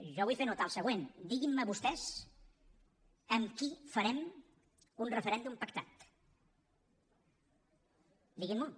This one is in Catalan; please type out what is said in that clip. jo vull fer notar el següent diguin me vostès amb qui farem un referèndum pactat diguin m’ho